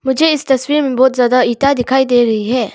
मुझे इस तस्वीर में बहुत ज्यादा इंटा दिखाई दे रही है।